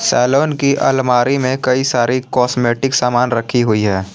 Salon की अलमारी में कई सारे कॉस्मेटिक सामान रखी हुयी है।